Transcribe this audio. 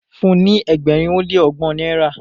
fún ní ẹgbẹrin o le ọgbọn náírà